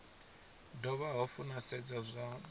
dovha hafhu na sedza zwa